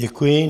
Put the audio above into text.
Děkuji.